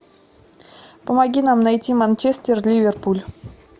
помоги нам найти манчестер ливерпуль